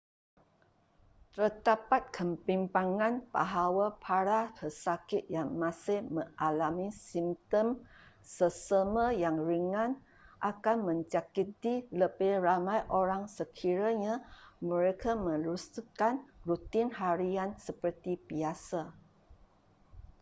terdapat kebimbangan bahawa para pesakit yang masih mengalami simptom selesema yang ringan akan menjangkiti lebih ramai orang sekiranya mereka meneruskan rutin harian seperti biasa